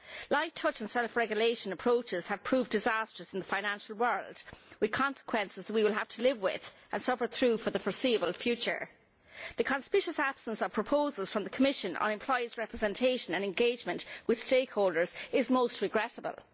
Light touch and self regulation approaches have proved disastrous in the financial world, with consequences we will have to live with, and suffer through, for the foreseeable future. The conspicuous absence of proposals from the Commission on employees' representation and engagement with stakeholders is most regrettable.